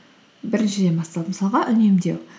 біріншіден басталады мысалға үнемдеу